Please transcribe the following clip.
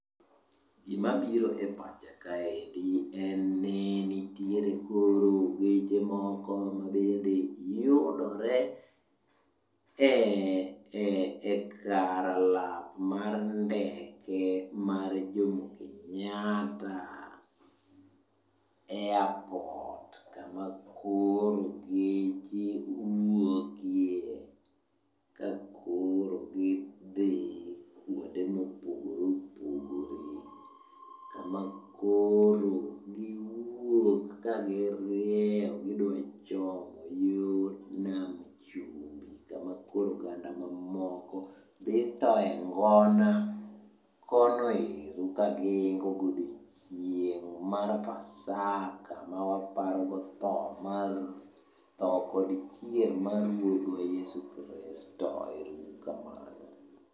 Gimabiro e pacha kaendi en ni nitiere koro geche moko mabende yudore e kar lak mar ndeke mar Jomo Kenyatta Airport kama koro geche wuokie ka koro gidhi kwonde mopogore opogore, kama koro giwuok kagirieyo gichomo yo nam chumbi kama koro oganda mamoko dhi thoye ngon kono ero kagiiko godiochieng' mar pasaka ma waparogo tho kod chier mar ruodhwa Yesu Kristo. Ero uru kamano.